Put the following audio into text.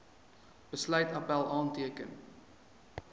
besluit appèl aanteken